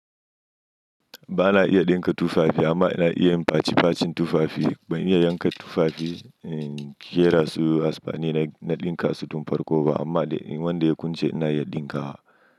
Ba na iya dinka tufafi amma ina iya yin facifacin tufafi. Ba ina iya yanka tufafi, ƙera su har sani na dinka su don farko ba amma wanda ya kunce ina iya dinka wa.